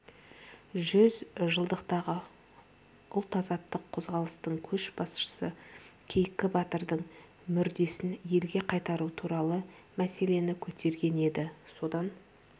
жүз жылдықтағы ұлт-азаттық қозғалыстың көшбасшысы кейкі батырдың мүрдесін елге қайтару туралы мәселені көтерген еді содан